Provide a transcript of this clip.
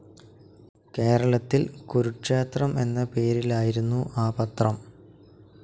കേരളത്തിൽ കുരുക്ഷേത്രം എന്ന പേരിലായിരുന്നു ആ പത്രം.